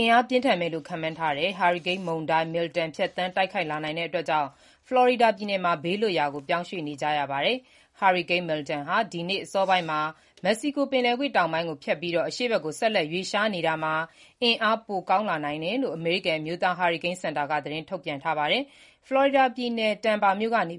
အင်အားပြင်းထန်မယ်လို့ ခန့်မှန်းထားတဲ့ ဟာရီကိန်းမုန်တိုင်း Milton ဖြတ်သန်းတိုက်ခိုက် လာနိုင်တာကြောင့် ဖလော်ရီဒါပြည်နယ်မှာ ဘေးလွတ်ရာ ပြောင်းရွှေ့ နေကြရပါတယ်။ ဟာရီကိန်း Milton ဟာ ဒီနေ့တနင်္လာနေ့ အစောပိုင်းမှာ မက္ကဆီကိုပင်လယ်ကွေ့တောင်ပိုင်းကိုဖြတ်ပြီး၊ အရှေ့ဘက်သို့ ဆက်လက်ရွေ့လျားနေရာမှာ အင်အားပိုကောင်းလာနိုင်တယ်လို့ အမေရိကန် အမျိုးသားဟာရီကိန်းစင်တာက သတင်းထုတ်ပြန်ထားပါတယ်။ ဖလော်ရီဒါပြည်နယ် Tampa မြို့ကနေ